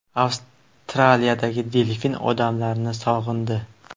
Avstraliyadagi delfin odamlarni sog‘indi.